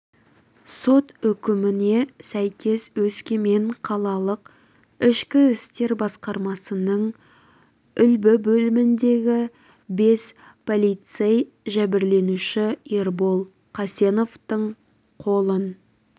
сот үкіміне сәйкес өскемен қалалық ішкі істер басқармасының үлбі бөліміндегі бес полицей жәбірленуші ербол қасеновтың қолын